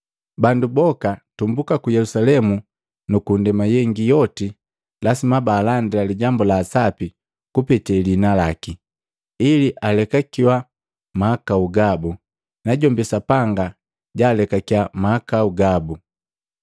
Bandu boka tumbuka ku Yelusalemu nuku ndema yengi yoti lasima baalandila lijambu la asapi kupete lihina laki, ili alekakiya mahakau gabu, najombi Sapanga jaalekakiya mahakau gabu.